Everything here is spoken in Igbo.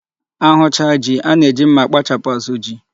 A hụcha ji, a na-eji mma akpachapụ azụ ji.